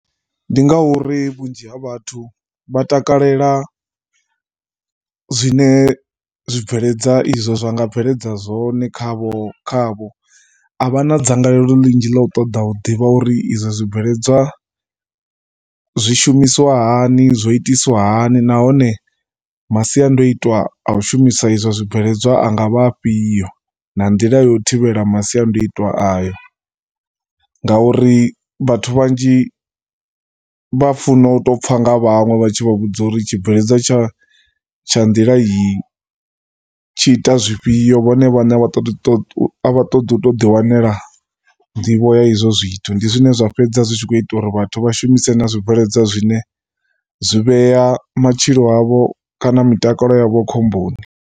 Ndi ngauri vhunzhi ha vhathu vha takalela zwine zwibveledzwa izwo zwa nga bveledza zwone khavho, khavho. A vha na dzangalelo ḽinzhi ḽa ṱoḓa u ḓivha uri izwo zwibveledzwa zwi shumiswa hani, zwo itiswa hani nahone masiandoitwa a u shumisa izwo zwibveledzwa a nga vha afhio na nḓila yo u thivhela masiandoitwa ayo. Ngauri vhathu vhanzhi vha funa u tou pfha nga vhaṅwe vha tshi vha vhudza uri tshibveledzwa tsha, tsha nḓila iyi tshi ita zwifhio vhone vhaṋe a vha ṱoḓi u tou ḓi wanela nḓivho ya ha izwo zwithu ndi zwone zwine zwa sala zwi tshi khou ita uri vhathu vha shumise na zwibveledzwa zwine zwi vhea matshilo avho kana mutakalo yavho khomboni.